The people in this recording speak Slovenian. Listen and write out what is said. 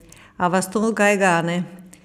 A vas to kaj gane?